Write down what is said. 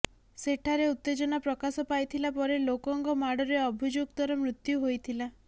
ସେଠାରେ ଉତ୍ତେଜନା ପ୍ରକାଶ ପାଇଥିଲା ପରେ ଲୋକଙ୍କ ମାଡରେ ଅଭିଯୁକ୍ତ ର ମୃତ୍ୟୁ ହୋଇଥିଲା